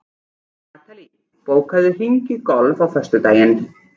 Natalí, bókaðu hring í golf á föstudaginn.